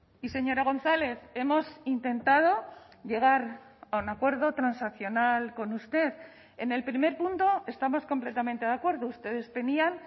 y señora gonzález hemos intentado llegar a un acuerdo transaccional con usted en el primer punto estamos completamente de acuerdo ustedes tenían